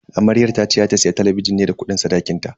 Amaryar tace za ta siya talabijin ne da kudin sadakinta.